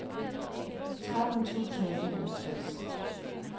tretten tusind og enogtres